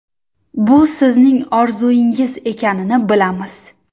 Bu sizning orzungiz ekanini bilamiz!